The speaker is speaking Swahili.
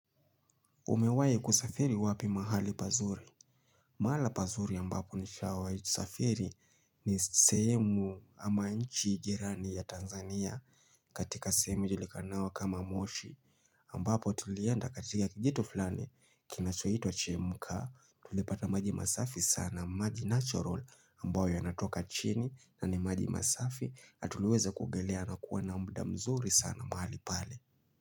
Umewahi kusafiri wapi mahali pazuri? Mahala pazuri ambapo nishawahi safiri ni sehemu ama nchi jirani ya Tanzania katika sehemu ijulikanayo kama moshi ambapo tulienda katika kijito fulani kinachoitwa Chemka. Tulipata maji masafi sana, maji natural ambayo yanatoka chini na ni maji masafi, na tuliweza kuogelea na kuwa na muda mzuri sana mahali pale.